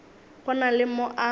go na le mo a